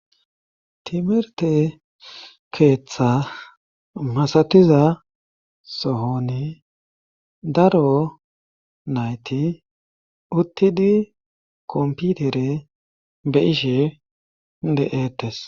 Timerte keeththa masatiza sohoni daro nayti uttidi komputere be ishe de'eetes.